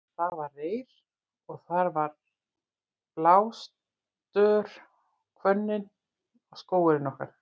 Þar var reyr og þar var blástör og hvönnin var skógurinn okkar.